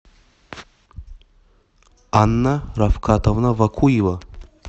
анна рафкатовна вакуева